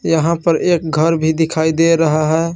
यहां पर एक घर भी दिखाई दे रहा है।